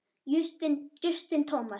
Justin Thomas